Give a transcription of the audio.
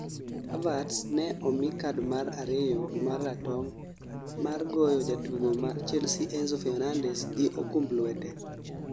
Havertz ne omi kad mar ariyo ma ratong' mar goyo jatugo ma chelsea Enzo Fenandez gi okumb lwete